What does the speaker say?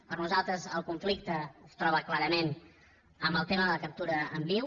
per nosaltres el conflicte es troba clarament en el tema de la captura en viu